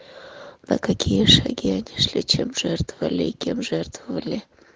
на какие шаги они шли чем жертвовали и кем жертвовали